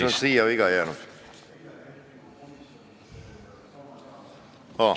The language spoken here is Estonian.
Siis on siia viga jäänud.